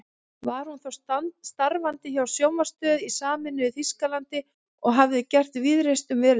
Var hún þá starfandi hjá sjónvarpsstöð í sameinuðu Þýskalandi og hafði gert víðreist um veröldina.